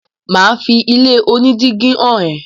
mà á fi ilé onídígí hàn ẹ́.